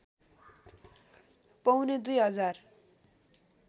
पौने दुई हजार